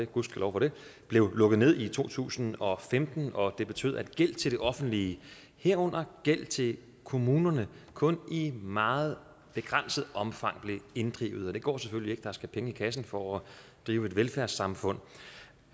gudskelov for det blev lukket ned i to tusind og femten og det betød at gæld til det offentlige herunder gæld til kommunerne kun i meget begrænset omfang blev inddrevet og det går selvfølgelig ikke for der skal penge i kassen for at drive et velfærdssamfund